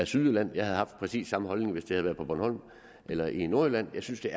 sydjylland jeg havde haft præcis samme holdning hvis det havde været på bornholm eller i nordjylland synes jeg